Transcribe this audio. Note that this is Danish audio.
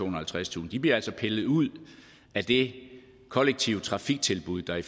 og halvtredstusind bliver altså pillet ud af det kollektive trafiktilbud der i